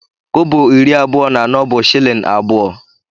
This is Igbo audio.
Kobo iri abụọ na anọ bụ shịlịn abụọ.